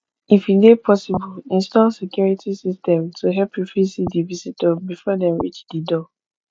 if e dey possible install security system to help you fit see di visitor before dem reach di door